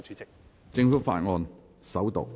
政府法案：首讀。